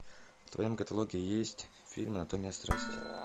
в твоем каталоге есть фильм анатомия страсти